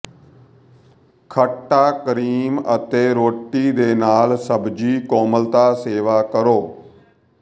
ਖੱਟਾ ਕਰੀਮ ਅਤੇ ਰੋਟੀ ਦੇ ਨਾਲ ਸਬਜ਼ੀ ਕੋਮਲਤਾ ਸੇਵਾ ਕਰੋ